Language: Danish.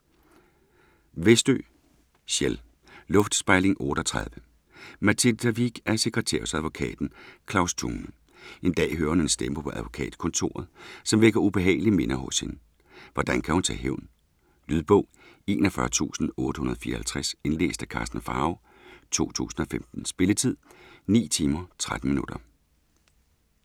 Westö, Kjell: Luftspejling 38 Mathilda Wiik er sekretær hos advokaten Claus Thune. En dag hører hun en stemme på advokatkontoret, som vækker ubehagelige minder hos hende. Hvordan kan hun tage hævn? Lydbog 41854 Indlæst af Karsten Pharao , 2015. Spilletid: 9 timer, 13 minutter.